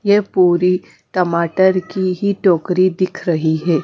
ये पूरी टमाटर की ही टोकरी दिख रही हैं।